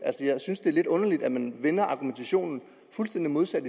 jeg synes det er lidt underligt at man vender argumentationen fuldstændig modsat